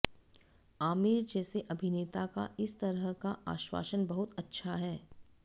आमिर जैसे अभिनेता का इस तरह का आश्वासन बहुत अच्छा है